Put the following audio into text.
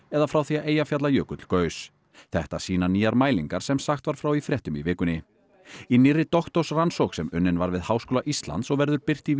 eða frá því að Eyjafjallajökull gaus þetta sýna nýjar mælingar sem sagt var frá í fréttum í vikunni í nýrri doktorsrannsókn sem unnin var við Háskóla Íslands og verður birt í